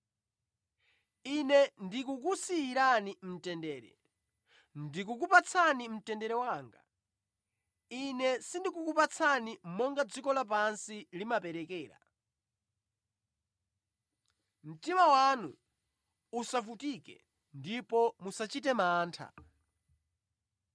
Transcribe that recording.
Ine ndikukusiyirani mtendere. Ndikukupatsani mtendere wanga. Ine sindikukupatsani monga dziko lapansi limaperekera. Mtima wanu usavutike ndipo musachite mantha.